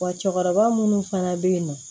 Wa cɛkɔrɔba minnu fana bɛ yennɔ